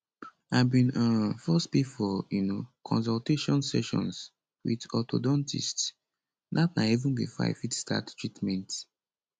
i bin um first pay for um consultation sessions wit orthodontists dat na even bifor i fit start treatment